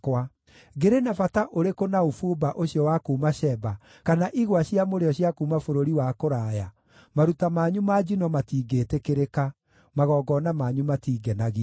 Ngĩrĩ na bata ũrĩkũ na ũbumba ũcio wa kuuma Sheba, kana igwa cia mũrĩo cia kuuma bũrũri wa kũraya? Maruta manyu ma njino matingĩĩtĩkĩrĩka; magongona manyu matingenagia.”